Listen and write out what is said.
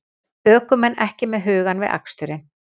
Ökumenn ekki með hugann við aksturinn